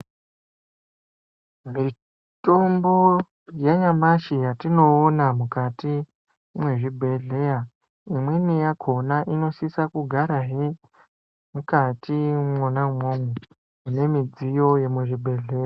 Mitombo yanyamashi yatinoona mukati mwezvibhedhlera imweni yakona inosise kugara hee mukati mwonamomo mune zvidziyo zvemuzvibhedhlera .